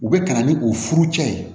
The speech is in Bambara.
U bɛ ka na ni u furucɛ ye